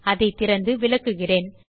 அதை திறந்து விளக்குகிறேன்